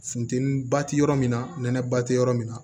Funteni ba ti yɔrɔ min na nɛnɛba tɛ yɔrɔ min na